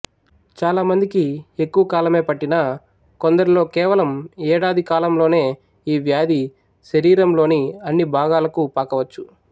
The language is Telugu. చాలా మందికి ఎక్కువ కాలమే పట్టినా కొందరిలో కేవలం ఏడాది కాలంలోనే ఈ వ్యాధి శరీరంలోని అన్ని భాగాలకూ పాకవచ్చు